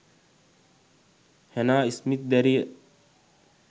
Hannah Smith දැරිය